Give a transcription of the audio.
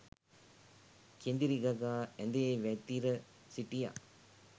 කෙඳිරි ගගා ඇඳේ වැතිර සිටියා